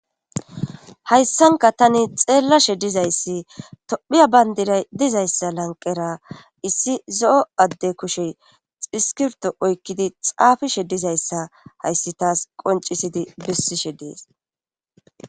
Hayssanka tani xeellashe dizayssi tophiya bayndira dizayssa lanqera issi zo7o adde kushe xiskirto oykkidi xaafishe dizayssa hayssi taas qoncisidi bissishe dees.